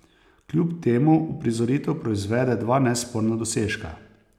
Kljub temu uprizoritev proizvede dva nesporna dosežka.